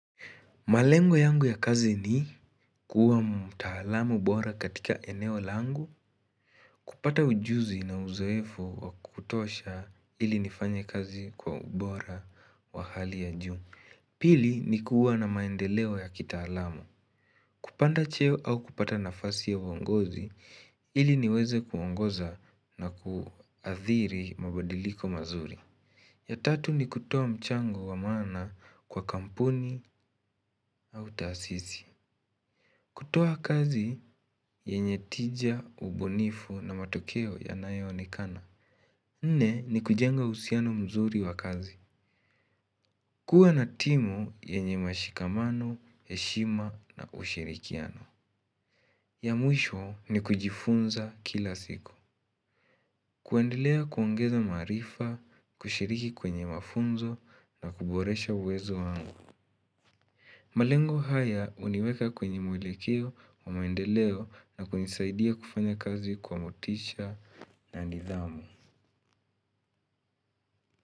Malengo yangu ya kazi ni kuwa mtaalam bora katika eneo langu kupata ujuzi na uzoefo wa kutosha ili nifanye kazi kwa ubora wa hali ya juu. Pili ni kuwa na maendeleo ya kitaalamu, kupanda cheo au kupata nafasi ya uongozi ili niweze kuongoza na kuathiri mabadiliko mazuri. Ya tatu ni kutoa mchango wa maana kwa kampuni au taasisi. Kutoa kazi yenye tija, ubunifu na matokeo yanayo onekana. Nne ni kujenga uhusiano mzuri wa kazi. Kuwa na timu yenye mashikamano, heshima na ushirikiano. Ya mwisho ni kujifunza kila siku. Kuendelea kuongeza maarifa, kushiriki kwenye mafunzo na kuboresha uwezo wangu. Malengo haya huniweka kwenye mwelekeo wa maendeleo na kunisaidia kufanya kazi kwa motisha na nidhamu.